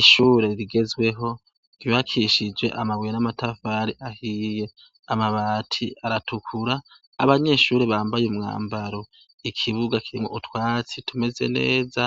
Ishure rigezweho ry'ubakishijwe amabuye n'amatafari ahiye, amabati aratukura .Abanyeshure Bambaye umwambaro. Ikibuga kirimwo utwatsi tumeze neza,